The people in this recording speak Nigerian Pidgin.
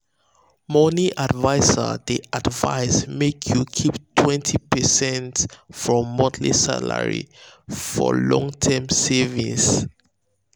money adviser dey advise make you dey keep 20 percent from monthly salary for long-term savings.